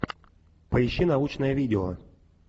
поищи научное видео